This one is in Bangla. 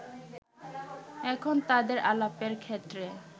এখন তাদের আলাপের ক্ষেত্রে